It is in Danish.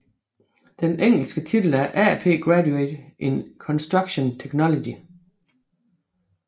Den engelske titel er AP Graduate in Construction Technology